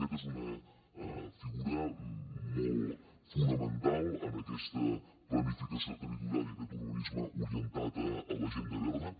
aquest és una figura molt fonamental en aquesta planificació territorial i aquest urbanisme orientat a l’agenda verda